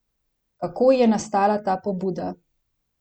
Kako je nastala ta pobuda?